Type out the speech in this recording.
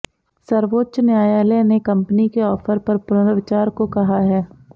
सर्वोच्च न्यायालय ने कंपनी के ऑफर पर पुनर्विचार को कहा है